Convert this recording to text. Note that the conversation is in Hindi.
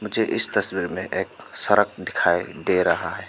मुझे इस तस्वीर में एक सड़क दिखाई दे रहा है।